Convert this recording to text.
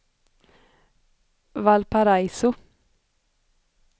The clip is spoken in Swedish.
Valparaiso